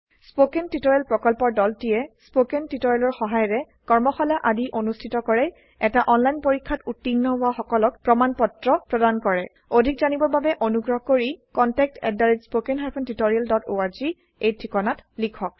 spoken tutorial প্ৰকল্পৰ দলটিয়ে কথন শিক্ষণ সহায়িকাৰে কৰ্মশালা আদি অনুষ্ঠিত কৰে এটা অনলাইন পৰীক্ষাত উত্তীৰ্ণ হোৱা সকলক প্ৰমাণ পত্ৰ প্ৰদান কৰে অধিক জানিবৰ বাবে অনুগ্ৰহ কৰি contactspoken tutorialorg এই ঠিকনাত লিখক